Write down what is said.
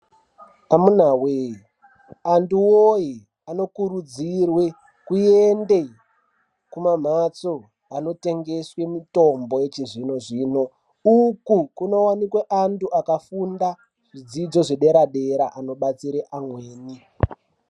Amunawee antu woye anokurudzirwe kuenda kumamhatso anotengesa mitombo yechizvino zvino uku munowanikwa antu akafunda zvidzidzo dera dera anobatsira amweni.